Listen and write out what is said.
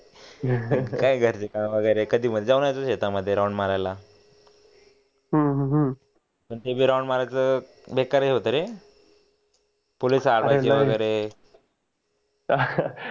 जाऊन शेतामद्धेराऊंड मारायला हम्म कितीबी राऊंड मारल तर बेकार ही होत रे